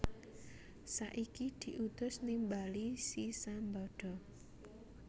Saiki diutus nimbali si Sambada